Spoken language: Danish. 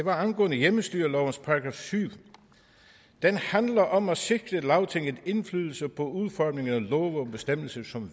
er angående hjemmestyrelovens § syvende den handler om at sikre lagtinget indflydelse på udformning af love og bestemmelser som